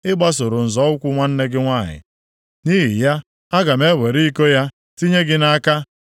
Ị gbasoro nzọ ụkwụ nwanne gị nwanyị, nʼihi ya, aga m ewere iko ya tinye gị nʼaka. + 23:31 Aga m ata gị ahụhụ dịka m si taa ya.